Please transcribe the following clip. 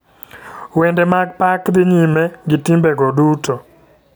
Wende mag pak dhi nyime gi timbe go duto.